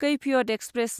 Kaifiyat express